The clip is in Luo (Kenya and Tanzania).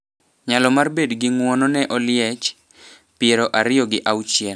Nyalo mar bed gi ng’uono ne Oliech, piero ariyo gi auchiel.